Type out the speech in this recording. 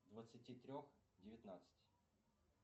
двадцати трех девятнадцати